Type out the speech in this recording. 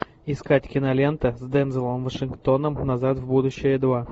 искать кинолента с дензелом вашингтоном назад в будущее два